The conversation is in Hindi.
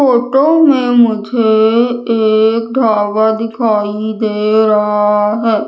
फोटो में मुझे एक ढाबा दिखाई दे रहा है।